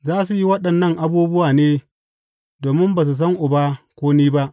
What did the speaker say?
Za su yi waɗannan abubuwa ne domin ba su san Uba ko ni ba.